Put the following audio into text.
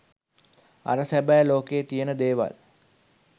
අර සැබෑ ලෝකයේ තියෙන දේවල්